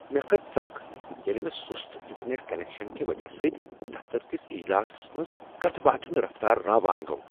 مےٚ کٔھژ ژکھ ییٚلہ مے سُست انٹرنیٹ کنیکشن کہ وجہہ سۭتۍ دفتر کس اجلاسس منٛز کتھہِ باتھہِ ہٖند رفتار راوان گوٚو ۔